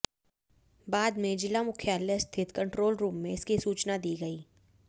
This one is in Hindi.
बाद में जिला मुख्यालय स्थित कंट्रोल रूम में इसकी सूचना दी गई